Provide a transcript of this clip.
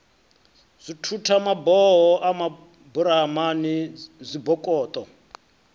dzithutha maboho a maburamani zwibokoṱo